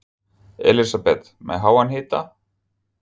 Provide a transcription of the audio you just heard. Elísabet: Með háan hita?